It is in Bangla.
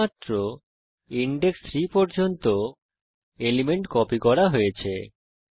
শুধুমাত্র ইনডেক্স 3 পর্যন্ত এলিমেন্ট কপি করা হয়েছে